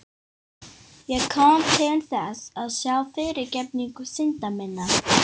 Ég kom til þess að fá fyrirgefningu synda minna.